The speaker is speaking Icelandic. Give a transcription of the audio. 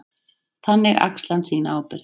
Þannig axli hann sína ábyrgð.